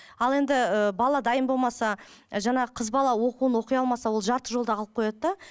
ал енді ыыы бала дайын болмаса ы жаңа қыз бала оқуын оқи алмаса ол жарты жолда қалып қояды да